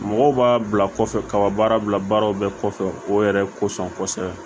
Mɔgɔw b'a bila kɔfɛ kaba baara bila baaraw bɛɛ kɔfɛ o yɛrɛ kosɔn kosɛbɛ